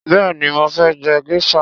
Béèni mo fé je geisha.